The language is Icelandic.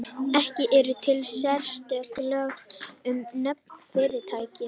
Ekki eru til sérstök lög um nöfn fyrirtækja.